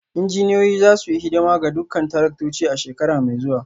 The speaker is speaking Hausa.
Injiniyoyin za su yi hidima ga dukkan taraktocin a shekara mai zuwa